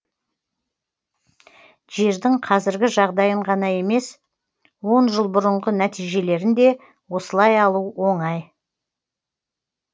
жердің қазіргі жағдайын ғана емес он жыл бұрынғы нәтижелерін де осылай алу оңай